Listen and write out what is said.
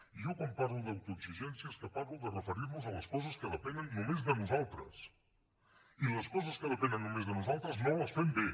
i jo quan parlo d’autoexigència és que parlo de referir nos a les coses que depenen només de nosaltres i les coses que depenen només de nosaltres no les fem bé